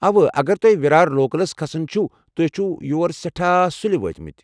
اوہ، اگر تۄہہِ ورار لوکلس كھسُن چُھوٕ تۄہہِ چھِوٕ یور سیٹھاہ سُلہِ وٲتِمٕتۍ ۔